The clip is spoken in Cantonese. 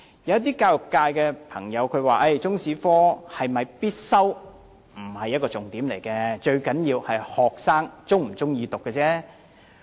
有教育界朋友表示，中史是否必修科並非重點，最重要的是學生是否喜歡修讀。